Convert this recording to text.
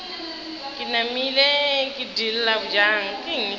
ke namile ke diila bjang